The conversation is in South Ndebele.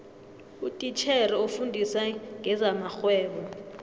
utitjhere ofundisa ngezamarhwebo